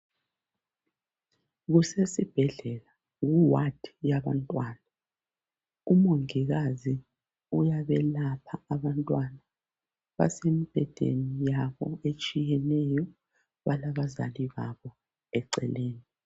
Kusesibhedlela ku"ward" yabantwana. Umongikazi uyabelapha abantwana. Basemibhedeni yabo etshiyeneyo, balabazali babo eceleni